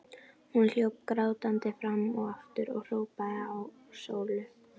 Hún hljóp grátandi fram og aftur og hrópaði á Sólu.